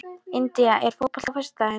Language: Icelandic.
India, er bolti á föstudaginn?